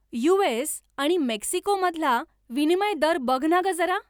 US आणि मेक्सिकोमधला विनिमय दर बघ ना गं जरा!